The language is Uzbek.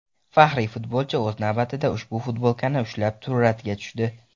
Faxriy futbolchi o‘z navbatida ushbu futbolkani ushlab suratga tushdi.